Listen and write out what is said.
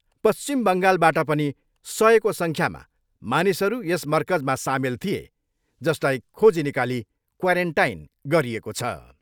पश्चिम बङ्गालबाट पनि सयको सङ्ख्यामा मानिसहरू यस मरकजमा सामेल थिए जसलाई खोजी निकाली क्वारेन्टाइन गरिएको छ।